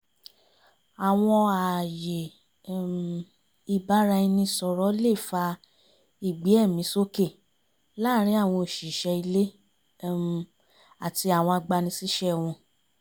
àwọn ààyè um ìbára-ẹni-sọ̀rọ̀ lè fa ìgbé-ẹ̀mí-sókè láàrin àwọn òṣìṣẹ́ ilé um àti àwọn agbanisíṣẹ́ wọn